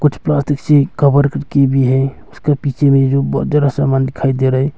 इस प्लास्टिक से कवर कर के भी है उसके पीछे में जो बहुत ज्यादा सामान दिखाई दे रहा है।